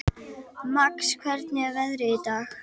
Max, hvernig er veðrið í dag?